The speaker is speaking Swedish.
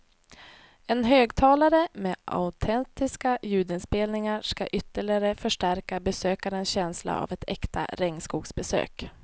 En högtalare med autentiska ljudinspelningar skall ytterligare förstärka besökarens känsla av ett äkta regnskogsbesök.